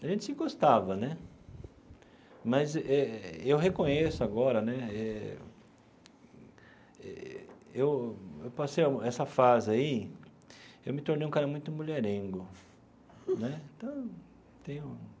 A gente se gostava né, mas eu eu reconheço agora né, eu eu passei essa fase aí, eu me tornei um cara muito mulherengo né então eu tenho.